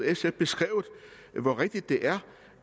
sf beskrevet hvor rigtigt det er